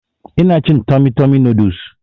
Ina cin tummy tummy noodles